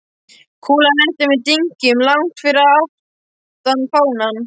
Kúlan lenti með dynkjum langt fyrir aftan fánann.